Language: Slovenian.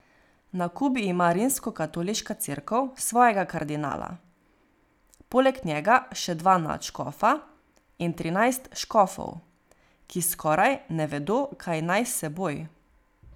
Na Kubi ima Rimskokatoliška cerkev svojega kardinala, poleg njega še dva nadškofa in trinajst škofov, ki skoraj ne vedo, kaj naj s seboj.